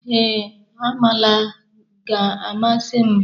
Ee, amala ga-amasị m.